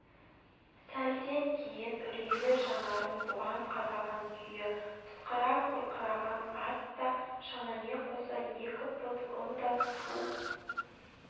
сәлден кейін үрейлі жанарын бұған қадаған күйі пысқыра қорқыраған ат та шанамен қоса екі пұт ұн да су